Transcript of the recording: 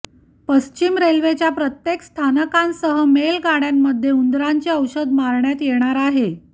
पश्चिम रेल्वेच्या प्रत्येक स्थानकांसह मेल गाडय़ांमध्ये उंदरांचे औषध मारण्यात येणार आहे